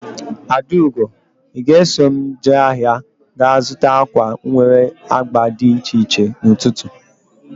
Adaugo! I ga eso m jee ahịa ga zụta akwa nwere agba dị iche iche n'ututu